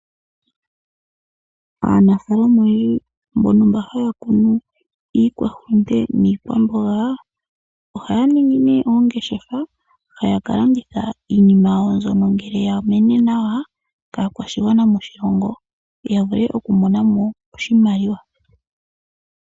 Aanafaalama oyendji mbono mba haya kunu iikwahulute niikwamboga ohaya ningi nee oongeshefa taya ka landitha iinima yawo mbyono ngele ya mene nawa kaakwashigwana moshilongo ya vule oku monamo oshimaliwa.